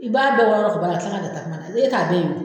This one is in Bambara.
I b'a dɔn nka ni e t'a dɔn